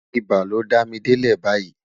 ibà ló dá mí delẹ bayii